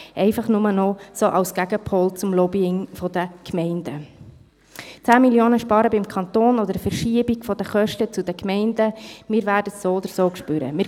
Nur noch kurz, sozusagen als Gegenpol zum Lobbying der Gemeinden: Ob 10 Mio. Franken sparen beim Kanton, ob eine Verschiebung der Kosten zu den Gemeinden – wir werden es so oder so zu spüren bekommen.